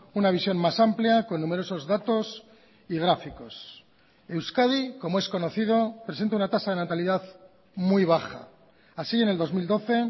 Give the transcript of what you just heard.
una visión más amplia con numerosos datos y gráficos euskadi como es conocido presenta una tasa de natalidad muy baja así en el dos mil doce